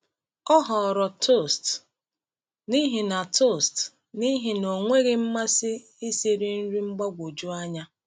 Ọ họọrọ toast n’ihi na toast n’ihi na o nweghị mmasị isiri nri mgbagwoju anya.